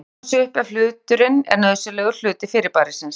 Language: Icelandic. Þetta gengur aðeins upp ef hluturinn er nauðsynlegur hluti fyrirbærisins.